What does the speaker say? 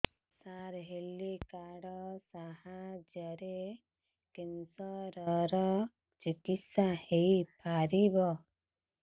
ସାର health card ସାହାଯ୍ୟରେ cancer ର ଚିକିତ୍ସା ହେଇପାରିବ